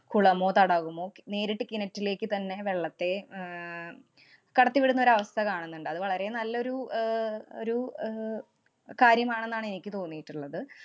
കുളമോ, തടാകമോ, നേരിട്ട് കിണറ്റിലേക്ക് തന്നെ വെള്ളത്തെ ആഹ് കടത്തി വിടുന്ന ഒരവസ്ഥ കാണുന്നുണ്ട്. അത് വളരെ നല്ലൊരു ആഹ് ഒരു ആഹ് കാര്യമാണെന്നാണ് എനിക്ക് തോന്നീട്ട്ള്ളത്.